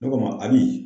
Ne ko a ma abi